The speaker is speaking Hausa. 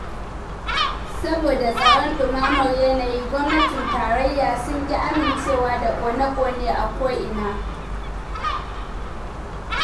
Saboda tsoron ɗumamar yanayi, gwamnatin tarayya sun ƙi amincewa da ƙone- ƙone a koina